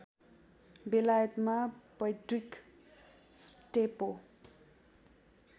बेलायतमा पैट्रिक स्टेपो